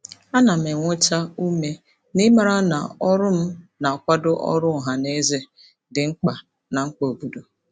A na m enweta ume n'ịmara na ọrụ m na-akwado ọrụ ọha na eze dị mkpa na mkpa obodo.